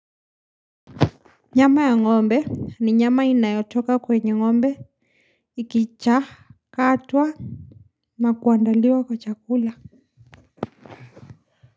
Nyama ya ng'ombe ni nyama inayotoka kwenye ng'ombe ikichakatwa na kuandaliwa kwa chakula.